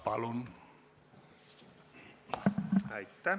Palun!